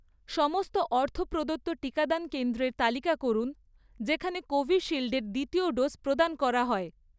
সমস্ত অর্থ প্রদত্ত টিকাদান কেন্দ্রের তালিকা করুন যেখানে কোভিশিল্ড এর দ্বিতীয় ডোজ প্রদান করা হয়